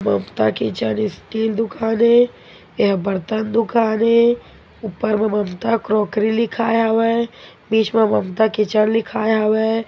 ममता kitchen steel दूकान ये ये ह बर्तन दूकान ये ऊपर म ममता क्रोकरी लिखाये हावय बीच मे ममता किचन लिखाए हावय ।